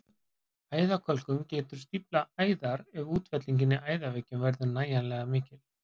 Æðakölkun getur stíflað æðar ef útfellingin í æðaveggjunum verður nægilega mikil.